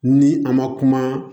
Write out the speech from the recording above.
Ni a ma kuma